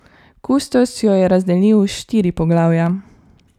Kustos jo je razdelil v štiri poglavja.